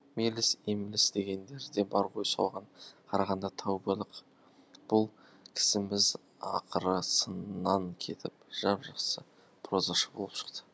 меліс емліс дегендер де бар ғой соған қарағанда тәубалық бұл кісіміз ақыры сыннан кетіп жап жақсы прозашы болып шықты